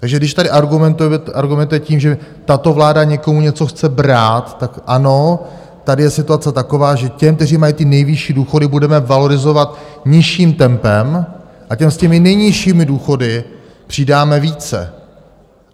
Takže když tady argumentujete tím, že tato vláda někomu něco chce brát, tak ano, tady je situace taková, že těm, kteří mají ty nejvyšší důchody, budeme valorizovat nižším tempem a těm s těmi nejnižšími důchody přidáme více.